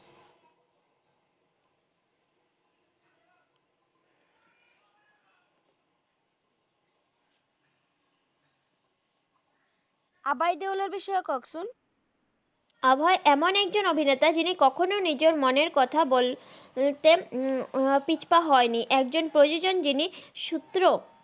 আভহাই তেলার এর বিষয়ে কহেন তো আভহাই এমন একজন অভিনেতা জিনি কখন নিজের মনের কথা বলতে পিছু পা হন নই একজন প্রজজক জিনি সুত্র